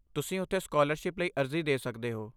ਤੁਸੀਂ ਉੱਥੇ ਸਕਾਲਰਸ਼ਿਪ ਲਈ ਅਰਜ਼ੀ ਦੇ ਸਕਦੇ ਹੋ।